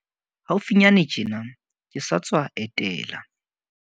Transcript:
Haufinyane tjena, ke sa tswa etela